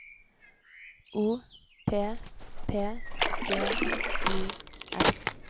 O P P G I S